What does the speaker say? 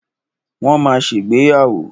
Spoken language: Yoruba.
Wọ́n ma ṣègbéyàwó.